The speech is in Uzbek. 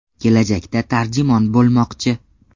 Kelajakda tarjimon bo‘lmoqchi.